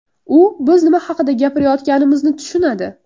U biz nima haqida gapirayotganimizni tushunadi.